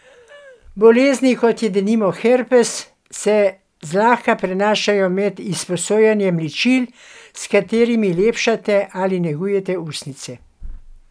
Bolezni, kot je denimo herpes, se zlahka prenašajo med izposojanjem ličil, s katerimi lepšate ali negujete ustnice.